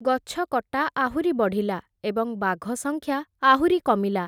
ଗଛକଟା ଆହୁରି ବଢ଼ିଲା, ଏବଂ ବାଘ ସଂଖ୍ୟା ଆହୁରି କମିଲା ।